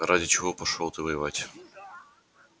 ради чего пошёл ты воевать